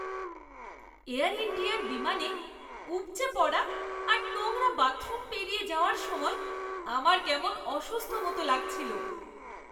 Air ইন্ডিয়ার বিমানে উপচে পড়া আর নোংরা বাথরুম পেরিয়ে যাওয়ার সময় আমার কেমন অসুস্থ মতো লাগছিলো।